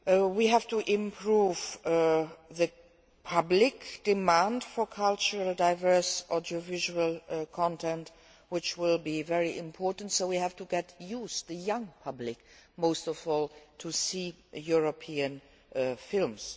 We have to improve public demand for culturally diverse audiovisual content, which will be very important, so we have to get the youth, the young public most of all, to see European films.